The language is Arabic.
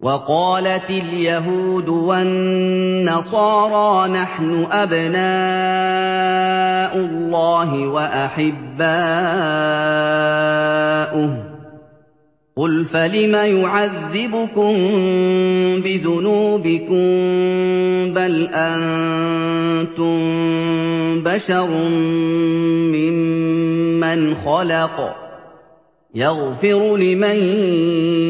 وَقَالَتِ الْيَهُودُ وَالنَّصَارَىٰ نَحْنُ أَبْنَاءُ اللَّهِ وَأَحِبَّاؤُهُ ۚ قُلْ فَلِمَ يُعَذِّبُكُم بِذُنُوبِكُم ۖ بَلْ أَنتُم بَشَرٌ مِّمَّنْ خَلَقَ ۚ يَغْفِرُ لِمَن